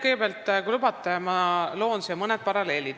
Kõigepealt, kui te lubate, siis ma toon mõne paralleeli.